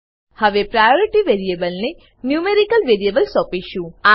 હવે priority variable ને numerical variable સોપીશું